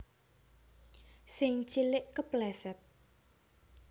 Sing cilik kepleset